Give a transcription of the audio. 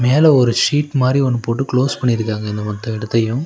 மேல ஒரு ஷீட் மாரி ஒன்னு போட்டு க்ளோஸ் பண்ணிருக்காங்க அந்த மத்த எடத்தையு.